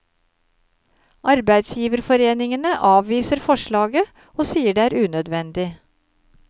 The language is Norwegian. Arbeidsgiverforeningene avviser forslaget, og sier det er unødvendig.